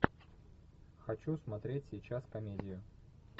хочу смотреть сейчас комедию